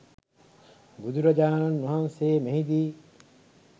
බුදුරජාණන් වහන්සේ මෙහිදී